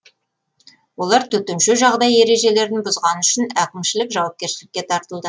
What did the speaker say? олар төтенше жағдай ережелерін бұзғаны үшін әкімшілік жауапкершілікке тартылды